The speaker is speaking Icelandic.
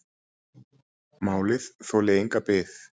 Málið þoli enga bið